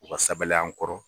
U ka sabali an kɔrɔ.